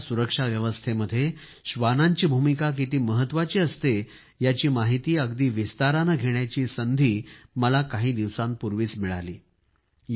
देशाच्या सुरक्षा व्यवस्थेमध्ये श्वानांची भूमिका किती महत्वाची असते याची माहिती अगदी विस्ताराने घेण्याची संधी मला काही दिवसांपूर्वीच मिळाली